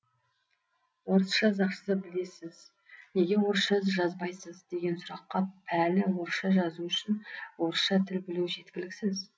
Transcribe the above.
орысша жақсы білесіз неге орысша жазбайсыз деген сұраққа пәлі орысша жазу үшін орысша тіл білу жеткіліксіз